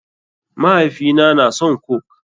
Mahaifina na son coke.